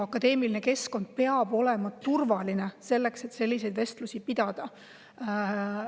Akadeemiline keskkond peab olema turvaline selleks, et selliseid vestlusi pidada.